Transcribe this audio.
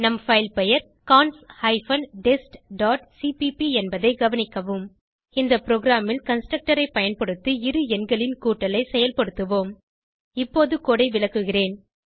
நம் பைல் பெயர் cons hyphen test dot CPP என்பதை கவனிக்கவும் இந்த ப்ரோகிராமில் கன்ஸ்ட்ரக்டர் ஐ பயன்படுத்தி இரு எண்களின் கூட்டலை செயல்படுத்துவோம் இப்போது கோடு ஐ விளக்குகிறேன்